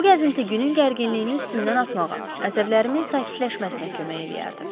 Bu gəzinti günün gərginliyini üstümdən atmağa, əsəblərimin sakitləşməsinə kömək eləyərdi.